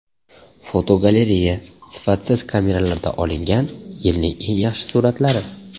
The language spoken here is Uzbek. Fotogalereya: Sifatsiz kameralarda olingan yilning eng yaxshi suratlari.